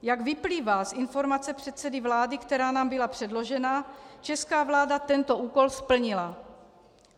Jak vyplývá z informace předsedy vlády, která nám byla předložena, česká vláda tento úkol splnila.